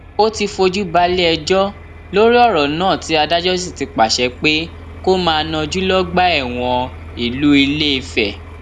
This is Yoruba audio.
ó ti fojú balẹẹjọ lórí ọrọ náà tí adájọ sì ti pàṣẹ pé kó máa najú lọgbà ẹwọn ìlú ilẹfẹ